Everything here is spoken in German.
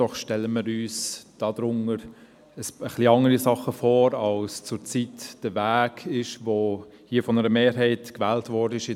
Doch wir stellen uns einen anderen Weg vor, als er in letzten Jahren von einer Mehrheit hier gewählt worden ist.